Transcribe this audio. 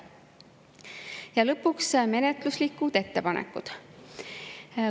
Ja lõpuks menetluslikud ettepanekud.